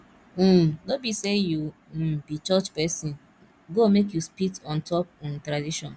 um no be sey you um be church pesin go make you spit on top um tradition